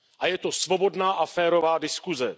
Je to svobodná a férová diskuse.